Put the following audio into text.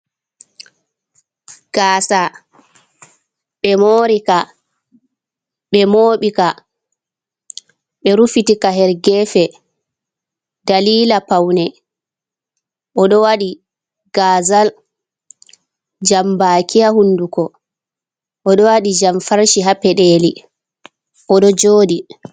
Gaasa ɓe moori ka, ɓe mooɓi ka, ɓe rufiti ka ha gefe dalila paune. Oɗo waɗi gazal jambaki ha hunduko, oɗo waɗi jam farshe ha peɗeli oɗo jooɗi.